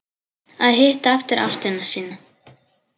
Að hitta aftur ástina sína